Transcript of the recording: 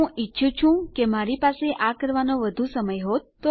હું ઈચ્છું છું કે મારી પાસે આ કરવાનો વધુ સમય હોત